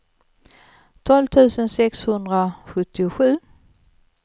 tolv tusen sexhundrasjuttiosju